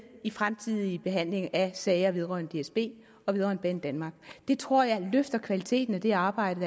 i fremtidige behandlinger af sager vedrørende dsb og vedrørende banedanmark det tror jeg løfter kvaliteten af det arbejde